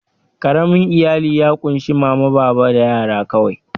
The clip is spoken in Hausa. Ƙaramin iyali ya ƙunshi mama, baba da yara kawai.